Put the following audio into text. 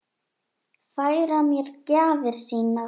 Færa mér gjafir sínar.